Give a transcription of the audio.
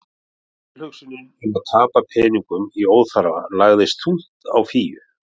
Tilhugsunin um að tapa peningum í óþarfa lagðist þungt á Fíu.